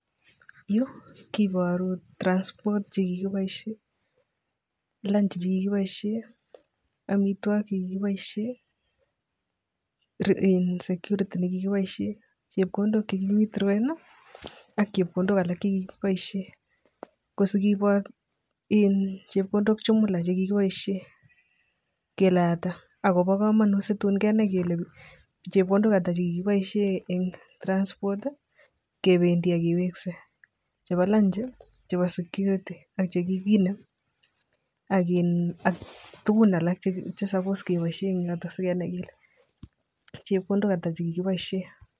Yu koboru transport chekikiboishe lunchi chekikiboishe amitwokik che kikiboishe security nekikiboishe chepkondok che kiwithroen ak chepkondok alak che kikiboishen. Ko sigibor chepkondok jumula chekikiboishen kele ata. Akobo kamanut situn kenai kele chepkondok ata chekikiboishe eng' transport kebendii ak keweksei chebo lunchi ak chebo security ak chekiginem. Ak tugun alak che suppose keboishe eng yoto sigenai kele chepkondok ata chekikiboishe.